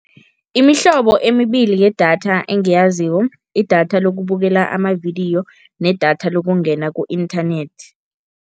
Imihlobo emibili yedatha engiyaziko, idatha lokubukela amavidiyo nedatha lokungena ku-inthanethi.